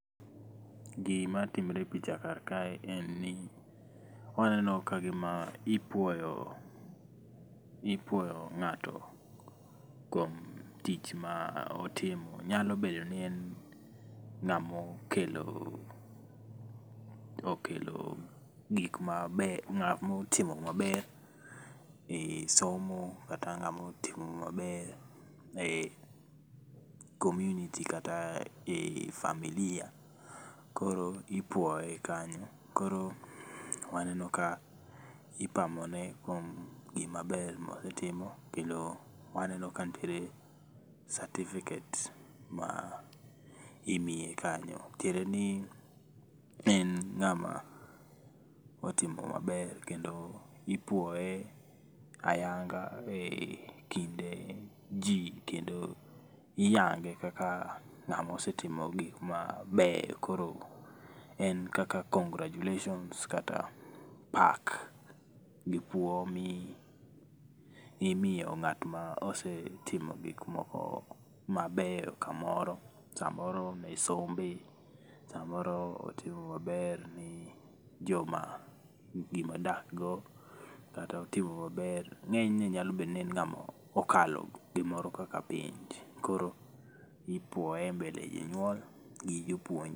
Gima timre e picha kar kae en ni waneno kagima ipuoyo, ipuoyo ngato kuom tich motimo. Nyalo bedo ni en ngamo kelo, okelo gik mabeyo, ngama otimo maber e somo kata ngama otimo maber e community kata e familia, koro ipuoye kanyo, koro waneno ka ipamone kuom gima ber motimo. Kendo waneo ka nitire certificate ma imiye kanyo, tiende ni en ngama otimo maber kendo ipuoye ayanga e kinde jii kendo iyange kaka ngamo osetimo gikma beyo. Koro en kaka congratulations kata pak gi puo mimiyo ngat mosetimo gik mabeyo kamoro, samoro e sombe, samoro otimo maber ne joma odak go kata otimo maber, ngenyne en ngama okalo gimoro kaka penj koro ipuoye e mbele jonyuol gi jopuonje